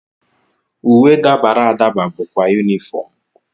Uwe dabara adaba bụkwa unifomu.